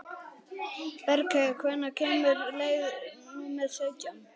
Bergheiður, hvenær kemur leið númer sautján?